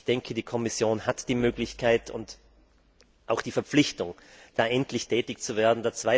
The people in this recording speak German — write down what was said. Werk. Ich denke, die Kommission hat die Möglichkeit und auch die Verpflichtung, da endlich tätig zu werden.